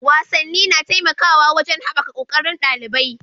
Wasanni na taimakawa wajen haɓaka ƙoƙarin ɗalibai.